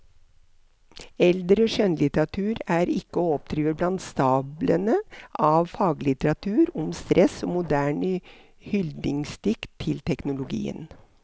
Eldre skjønnlitteratur er ikke å oppdrive blant stablene av faglitteratur om stress og moderne hyldningsdikt til teknologien.